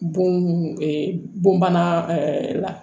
Bon bana ɛɛ la